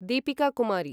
Deepika Kumari